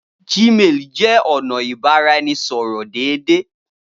Gmail jẹ ọna ibaraẹnisọrọ deede.